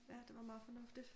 Ja det var meget fornuftigt